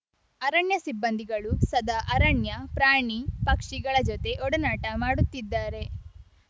ಅರಣ್ಯ ಸಿಬ್ಬಂದಿಗಳು ಸದಾ ಅರಣ್ಯ ಪ್ರಾಣಿ ಪಕ್ಷಿಗಳ ಜೊತೆ ಒಡನಾಟ ಮಾಡುತ್ತಿದ್ದಾರೆ